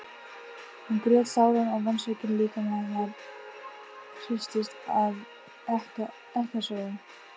Hún grét sáran og vonsvikinn líkami hennar hristist af ekkasogum.